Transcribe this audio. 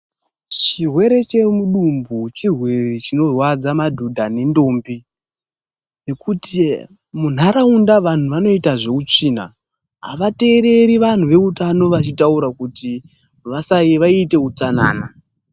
Chirwere chemudumbu chirwere chinorwadza madhodha nendombi, ngekuti muntaraunda vantu vanoite zveutsvina avatereri vantu veutano vachitaura kuti vasa ,vaite utsanana.